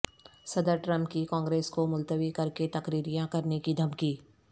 صدر ٹرمپ کی کانگریس کو ملتوی کر کے تقرریاں کرنے کی دھمکی